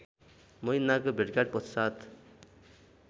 महिनाको भेटघाट पश्चात